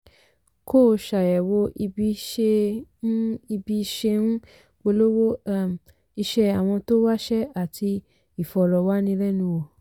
kó o ṣàyẹ̀wò ibi ṣe ń ibi ṣe ń polówó um iṣẹ́ àwọn tó wáṣẹ́ àti ìfọ̀rọ̀wánilẹ́nuwò.